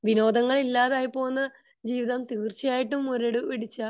വിനോദങ്ങൾ ഇല്ലാതായിട്ട് പോകുന്ന ജീവിതം തീർച്ചയായിട്ടും മുരട് പിടിച്ച